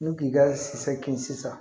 N'u k'i ka si kin sisan